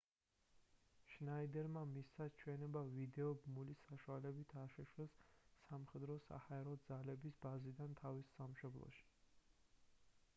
შნაიდერმა მისცა ჩვენება ვიდეო ბმულის საშუალებით აშშ-ს სამხედრო-საჰაერო ძალების ბაზიდან თავის სამშობლოში